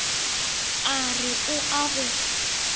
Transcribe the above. a re o a go